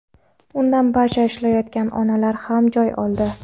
Undan barcha ishlayotgan onalar ham joy oldi.